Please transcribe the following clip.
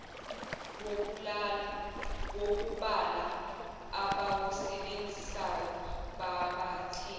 wokubala abawusebenzisayo babathe